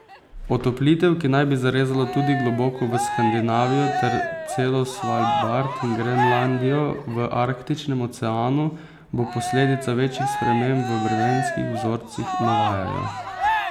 Otoplitev, ki naj bi zarezala tudi globoko v Skandinavijo ter celo Svalbard in Grenlandijo v Arktičnem oceanu, bo posledica večjih sprememb v vremenskih vzorcih, navajajo.